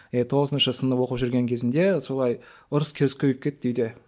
иә тоғызыншы сынып оқып жүрген кезімде солай ұрыс керіс көбейіп кетті үйде